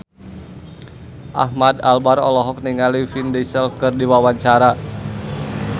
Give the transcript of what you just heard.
Ahmad Albar olohok ningali Vin Diesel keur diwawancara